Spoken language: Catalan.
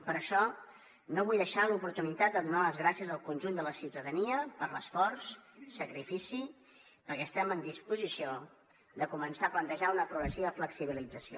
per això no vull deixar passar l’oportunitat de donar les gràcies al conjunt de la ciutadania per l’esforç i el sacrifici perquè estem en disposició de començar a plantejar una progressiva flexibilització